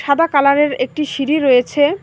সাদা কালারের একটি সিঁড়ি রয়েছে।